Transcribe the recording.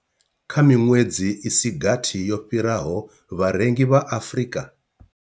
Kha miṅwedzi i si gathi yo fhiraho, vharengi vha Afrika.